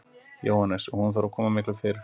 Jóhannes: Og hún þarf að koma miklu fyrr?